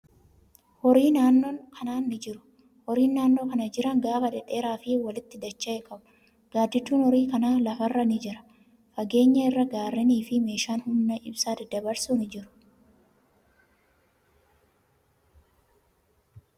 Horiin naannoo kana ni jiru. Horiin naannoo kana jiran gaafa dheedheeraa fi walitti dacha'e qabu. Gaaddidduun horii kanaa lafa irra ni jira. Fageenya irraa gaarrenii fi meeshaan humna ibsaa daddabarsu ni jiru.